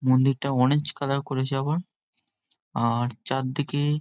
মন্দিরটা orange colour করেছে আবার আর চারদিকে --